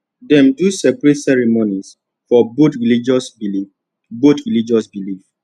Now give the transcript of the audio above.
dem do separate ceremonies for both religious belief both religious belief